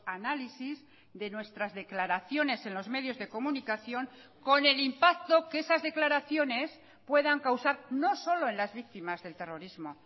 análisis de nuestras declaraciones en los medios de comunicación con el impacto que esas declaraciones puedan causar no solo en las víctimas del terrorismo